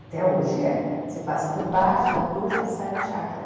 Até hoje é. Você passa por baixo da rua e já sai na chácara.